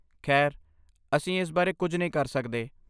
ਖੈਰ, ਅਸੀਂ ਇਸ ਬਾਰੇ ਕੁਝ ਨਹੀਂ ਕਰ ਸਕਦੇ।